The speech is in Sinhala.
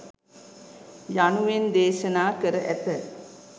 යනුවෙන් දේශනා කර ඇත.